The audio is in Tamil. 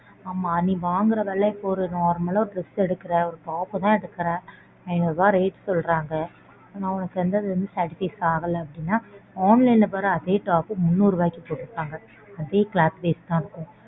ஆமா நீ வாங்கற விலை இப்போ ஒரு normal ஆ dress எடுக்கற ஒரு top பு தான் எடுக்கற ஐநூறுவா rate சொல்றாங்க. ஆனா உனக்கு center வந்து satisified ஆகல அப்படினா online ல பாரு அதே top பு முன்னூறு ரூபாய்க்கு போட்ருபாங்க அதே cloth base தான் இருக்கும்.